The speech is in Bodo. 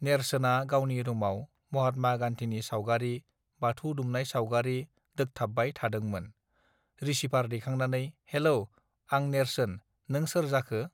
नेर्सोना गावनि रूमाव महात्मा गाण्डिनि सावगारि बाथौ दुमनाय सावगारि दोकथाबबाय थादांमोन रिसिभार दैखांनानै हेल आं नेर्सोन नों सोर जाखो